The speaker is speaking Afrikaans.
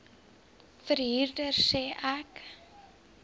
verhuurder sê ek